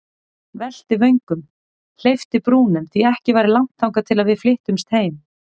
Velti vöngum, hleypti brúnum, því ekki væri langt þangað til við flyttumst heim.